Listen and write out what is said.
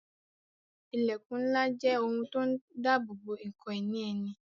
Ilẹkun ńlá jẹ́ ohun tó ń dabobo ǹkan ìní ẹni